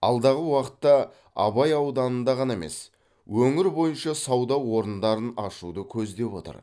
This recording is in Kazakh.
алдағы уақытта абай ауданында ғана емес өңір бойынша сауда орындарын ашуды көздеп отыр